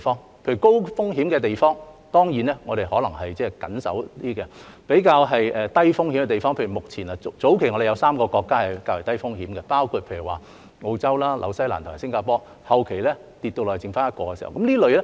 例如對於高風險的地方，當然我們可能比較加緊防守；對於較低風險的地方，我們會比較寬鬆，例如早期有3個國家是較低風險的，即澳洲、新西蘭及新加坡，後期跌至只有一個。